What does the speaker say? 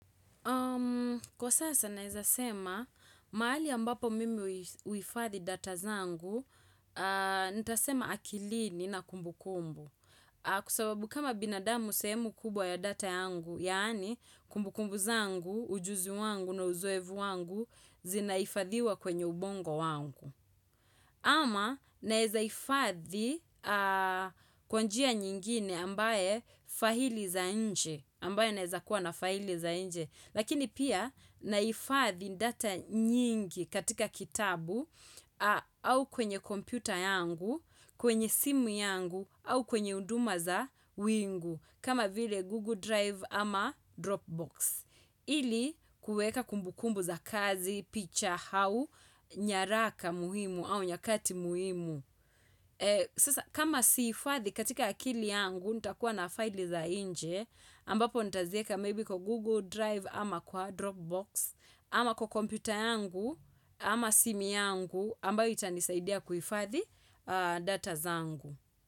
Kwa sasa naeza sema, maali ambapo mimi huifadhi data zangu, nitasema akilini na kumbukumbu. Kwa sababu kama binadamu sehemu kubwa ya data yangu, yaani kumbukumbu zangu, ujuzu wangu na uzoevu wangu zinahifadhiwa kwenye ubongo wangu. Ama naeza ifadhi kwa njia nyingine ambaye fahili za nje. Ambaye naeza kuwa na fahili za nje. Lakini pia naifathi ndata nyingi katika kitabu au kwenye kompyuta yangu, kwenye simu yangu au kwenye unduma za wingu kama vile Google Drive ama Dropbox. Ili kueka kumbukumbu za kazi, picha hau, nyaraka muhimu au nyakati muhimu. Sasa kama siifathi katika akili yangu nitakuwa na file za inje ambapo nitazieka maybe kwa Google Drive ama kwa Dropbox ama kwa kompyuta yangu ama simi yangu ambayo itanisaidia kuifathi data zangu.